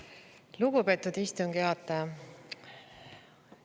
Lugupeetud istungi juhataja!